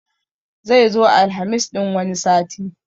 Zai zo Alhamis ɗin wani sati